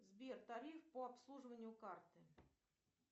сбер тариф по обслуживанию карты